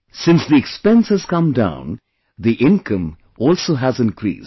Since the expense has come down, the income also has increased